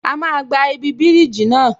A máa gba ibi bíríjì náà